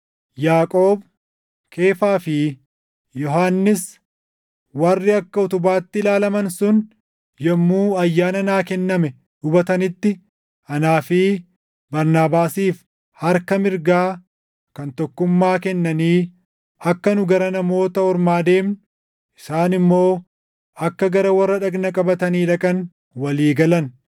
Yaaqoob, Keefaa fi Yohannis warri akka “Utubaatti” ilaalaman sun yommuu ayyaana naa kenname hubatanitti anaa fi Barnaabaasiif harka mirgaa kan tokkummaa kennanii akka nu gara Namoota Ormaa deemnu, isaan immoo akka gara warra dhagna qabatanii dhaqan walii galan.